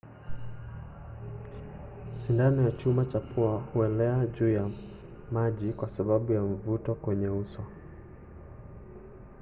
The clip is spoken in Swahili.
sindano ya chuma cha pua huelea juu ya maji kwa sababu ya mvuto kwenye uso